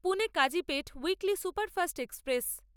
Pune Kazipet weekly superfast express